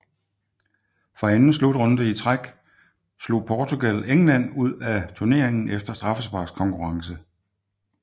For anden slutrunde i træk slog Portugal England ud af turneringen efter straffesparkskonkurrence